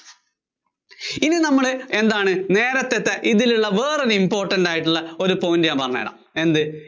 ഇനി നമ്മള് എന്താണ് നേരത്തത്തെ ഇതിലുള്ള വേറേ ഒരു important point ഞാന്‍ പറഞ്ഞുതരാം. എന്ത്